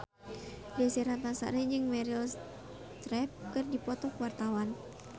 Desy Ratnasari jeung Meryl Streep keur dipoto ku wartawan